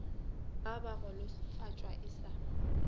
ba ba golofatša e sa